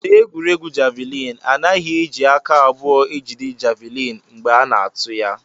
N'egwuregwu javịlịn, a naghị eji aka abụọ ejide javịlịn mgbe a na-atụ ya